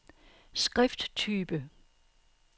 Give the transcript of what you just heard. skrifttype